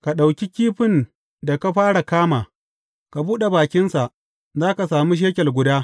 Ka ɗauki kifin da ka fara kama; ka buɗe bakinsa, za ka sami shekel guda.